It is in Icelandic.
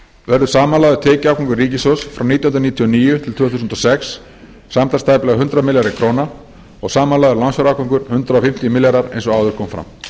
verður samanlagður tekjuafgangur ríkissjóðs frá nítján hundruð níutíu og níu til tvö þúsund og sex samtals tæplega hundrað milljarðar króna og samanlagður lánsfjárafgangur hundrað fimmtíu milljarðar eins og áður kom fram